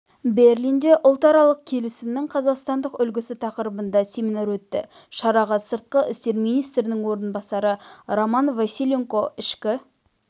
берлинде ұлтаралық келісімнің қазақстандық үлгісі тақырыбында семинар өтті шараға сыртқы істер министрінің орынбасары роман василенко ішкі